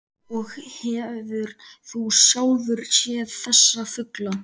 Og hefur þú sjálfur séð þessa fugla?